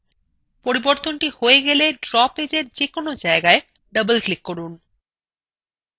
পরিবর্তনthe হয়ে গেলে draw পেজএর যেকোনো জায়গায় double click করুন